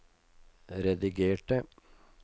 redigerte